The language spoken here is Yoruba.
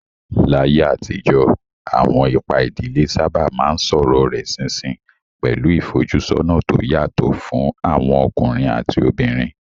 Láyé àtijọ́, àwọn ipa ìdílé sábà máa ń sọ̀rọ̀ rẹ̀ ṣinṣin, pẹ̀lú ìfojúsọ́nà tó yàtọ̀ fún àwọn ọkùnrin àti obìnrin.